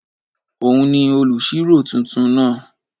Òun ni olùṣirò tuntun náà